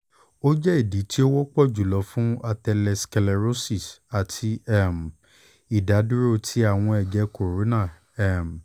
o jẹ idi ti o wọpọ julọ fun atherosclerosis ati um idaduro ti awọn ẹjẹ kòrónà um